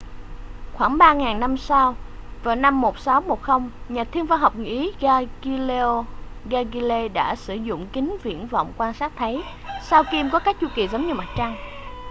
khoảng ba ngàn năm sau vào năm 1610 nhà thiên văn học người ý galileo galilei đã sử dụng kính viễn vọng quan sát thấy sao kim có các chu kỳ giống như mặt trăng